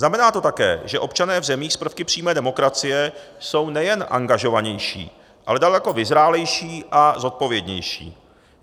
Znamená to také, že občané v zemích s prvky přímé demokracie jsou nejen angažovanější, ale daleko vyzrálejší a zodpovědnější.